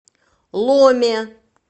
ломе